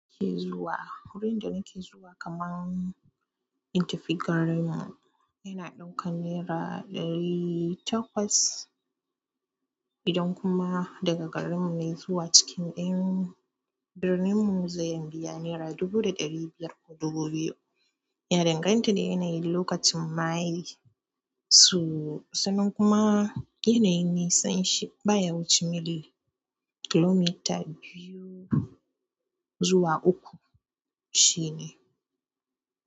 Kee zuwa wurin da nake zuwa kaman intifigar mu, yana ɗaukan naira ɗari takwas idan kuma daga garin mu ne zuwa cikin ɗayan birnin mu zainbi ya naira dubu da ɗari biyar ko dubu biyu. Yana danganta da yanayin lokacin mahayi su-sannan kuma yanayin nisanshi baya wuce mili kilomita biyu zuwa uku shine.